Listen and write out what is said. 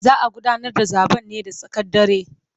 Za a gudanar da zaben ne da tsakar dare.